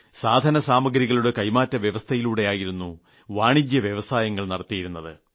സാധനസാമഗ്രികളുടെ കൈമാറ്റവ്യവസ്ഥയിലൂടെയായിരുന്നു വാണിജ്യ ഇടപാടുകൾ നടത്തിയിരുന്നത്